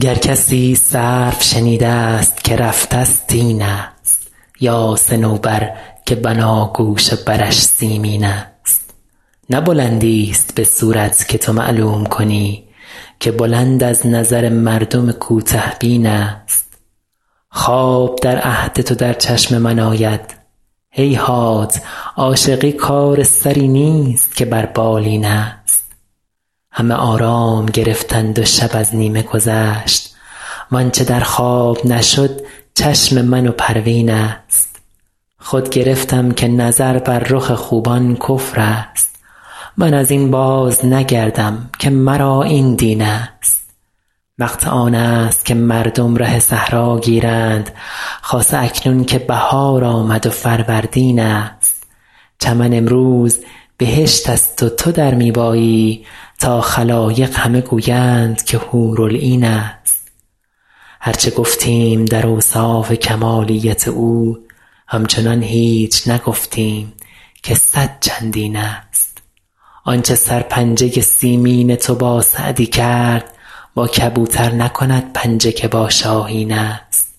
گر کسی سرو شنیده ست که رفته ست این است یا صنوبر که بناگوش و برش سیمین است نه بلندیست به صورت که تو معلوم کنی که بلند از نظر مردم کوته بین است خواب در عهد تو در چشم من آید هیهات عاشقی کار سری نیست که بر بالین است همه آرام گرفتند و شب از نیمه گذشت وآنچه در خواب نشد چشم من و پروین است خود گرفتم که نظر بر رخ خوبان کفر است من از این بازنگردم که مرا این دین است وقت آن است که مردم ره صحرا گیرند خاصه اکنون که بهار آمد و فروردین است چمن امروز بهشت است و تو در می بایی تا خلایق همه گویند که حورالعین است هر چه گفتیم در اوصاف کمالیت او همچنان هیچ نگفتیم که صد چندین است آنچه سرپنجه سیمین تو با سعدی کرد با کبوتر نکند پنجه که با شاهین است